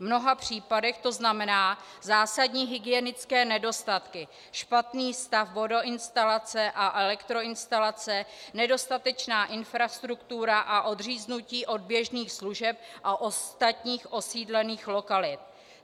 V mnoha případech to znamená zásadní hygienické nedostatky, špatný stav vodoinstalace a elektroinstalace, nedostatečnou infrastrukturu a odříznutí od běžných služeb a ostatních osídlených lokalit.